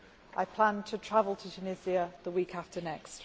I plan to travel to Tunisia the week after next.